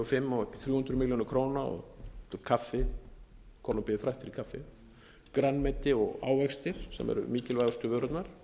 fimm og upp í þrjú hundruð milljóna króna kaffi kólumbía er fræg fyrir kaffi grænmeti og ávextir sem eru mikilvægustu vörurnar